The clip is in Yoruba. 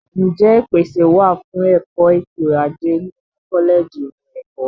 Ǹjẹ́ ìpèsè wà fún ẹ̀kọ́ ètò ajé nínú kọ́lẹ̀jì ìmọ̀ ẹ̀kọ́?